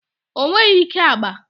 O nweghi ike agba.